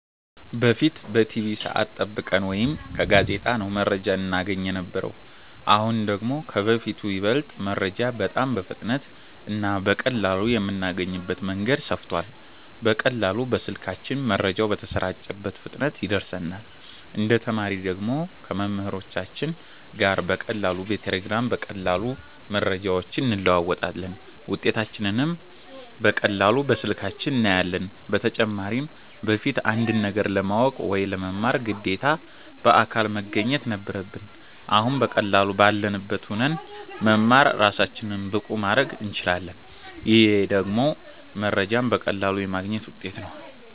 በፊት በቲቪ ሰዐት ጠብቀን ወይ ከጋዜጣ ነው መረጃ እናገኝ የነበረው አሁን ደግሞ ከበፊቱ ይበልጥ መረጃ በጣም በፍጥነት እና በቀላሉ የምናገኝበት መንገድ ሰፍቷል በቀላሉ በስልካችን መረጃው በተሰራጨበት ፍጥነት ይደርሰናል እንደ ተማሪ ደግሞ ከመምህሮቻችን ጋር በቀላሉ በቴሌግራም በቀላሉ መረጃዎችን እንለዋወጣለን ውጤታችንንም በቀላሉ በስልካችን እናያለን በተጨማሪም በፊት አንድን ነገር ለማወቅ ወይ ለመማር ግዴታ በአካል መገኘት ነበረብን አሁን በቀላሉ ባለንበት ሁነን መማር እራሳችንን ብቁ ማረግ እንችላለን ይሄ ደግሞ መረጃዎችን በቀላሉ የማግኘት ውጤት ነው